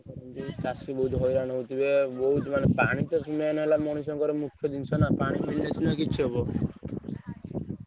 ଚାଷୀ ବହୁତ ହଇରାଣ ହଉଥିବେ ପାଣି ତ main